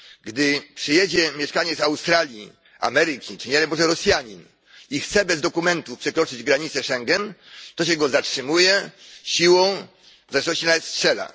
Gdy przyjedzie mieszkaniec Australii, Ameryki czy, nie daj Boże, Rosjanin i chce bez dokumentu przekroczyć granicę Schengen, to się go zatrzymuje siłą, a w ostateczności nawet strzela.